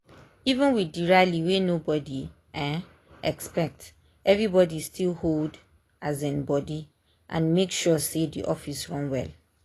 even with the rally wey nobody um expect everybody still hold um body and make sure say the office run well.